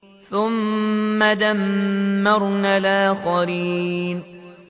ثُمَّ دَمَّرْنَا الْآخَرِينَ